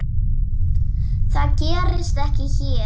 Það gerist ekki hér.